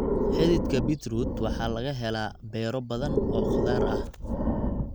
Xididka Beetroot waxa laga helaa beero badan oo khudaar ah.